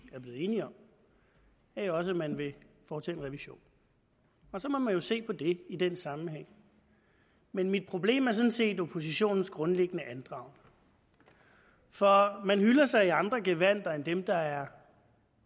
er blevet enige om er jo også at man vil foretage en revision og så må man jo se på det i den sammenhæng men mit problem er sådan set oppositionens grundlæggende andragende for man hyller sig i andre gevandter end dem der er